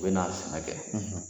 U bɛ na sɛnɛ kɛ